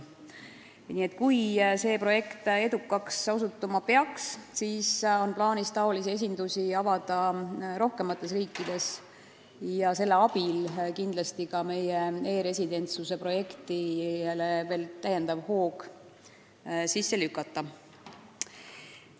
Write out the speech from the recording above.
Kui see projekt peaks edukaks osutuma, siis on plaanis sääraseid esindusi avada rohkemates riikides ja selle abil kindlasti meie e-residentsuse projektile veel täiendav hoog sisse lükata.